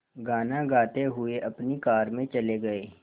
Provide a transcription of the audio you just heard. गाना गाते हुए अपनी कार में चले गए